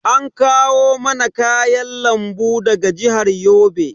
An kawo mana kayan lambu daga jihar Yobe.